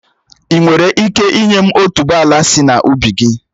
Ị́ nwere ike ị́nye m otuboala sị na ubi gị?